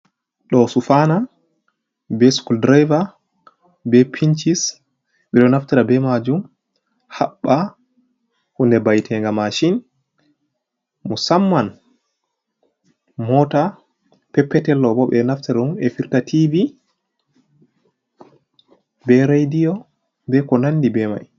Ɗo sufana, be skul draiver, be pinchis. Ɓeɗo naftira be majum haɓɓa hunde ba'etega mashin musamman mota peppetel. Ɓeɗo naftira ɗum ɓe firta tivi be radiyo be ko nandi be mai.